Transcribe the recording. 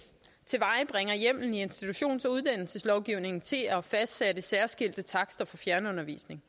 tilvejebringer hjemmelen i institutions og uddannelseslovgivningen til at fastsætte særskilte takster for fjernundervisning